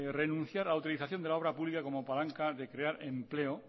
renunciar a la utilización de la obra pública como palanca de crear empleo